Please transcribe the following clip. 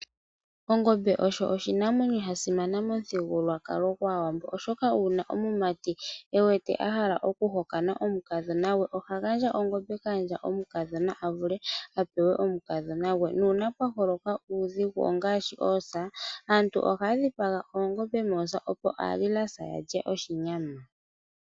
Ongombe osho oshinamwenyo shasimana momuthigulukwalo gwAawambo, oshoka uuna omumati ewete ahala okuhokana omukadhona gwe, ohagandja ongombe kaandja mukadhona avule apewe omukadhona gwe, nuuna pwaholoka uudhigu ngaashi oosa aantu ohayadhipaga oongombe moosa opo aalilasa yalye oshinyama.